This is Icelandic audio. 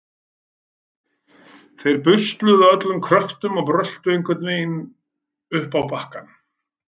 Þeir busluðu af öllum kröftum og bröltu einhvern veginn upp á bakkann.